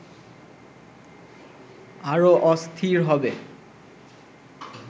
আরো অস্থির হবে